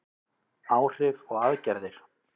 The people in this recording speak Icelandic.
Áhrif og aðgerðir.